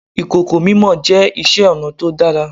Ìkòkò mímọ jẹ́ iṣẹ́ ọnà tó dára.